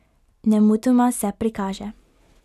Nemudoma se prikaže.